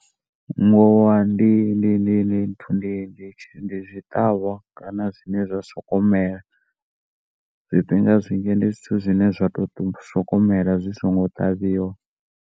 Ngowa ndi ndi zwiṱavha kana zwine zwa sokou mela zwifhinga zwinzhi ndi zwithu zwine zwa sokou mela zwi songo ṱavhiwa.